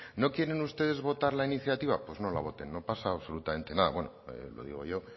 no quieren ustedes votar la iniciativa pues no la voten no pasa absolutamente nada bueno lo digo yo